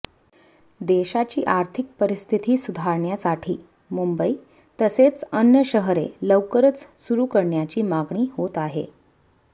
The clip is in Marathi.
देशाची आर्थिक परिस्थिती सुधारण्यासाठी मुंबईतसेच अन्य शहरे लवकरच सुरु करण्याची मागणी होत आहे